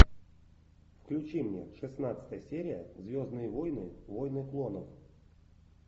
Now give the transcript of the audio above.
включи мне шестнадцатая серия звездные войны войны клонов